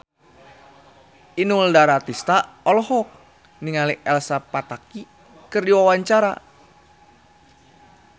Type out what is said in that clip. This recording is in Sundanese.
Inul Daratista olohok ningali Elsa Pataky keur diwawancara